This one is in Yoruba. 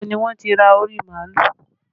Ibo ni wọ́n ti ra orí màálù?